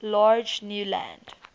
large new land